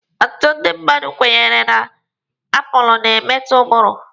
Ọtụtụ ndị mmadụ kwenyere na aapụlụ na-emelite ụbụrụ.